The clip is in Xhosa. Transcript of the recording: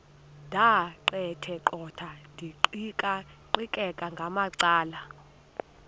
ndaqetheqotha ndiqikaqikeka ngamacala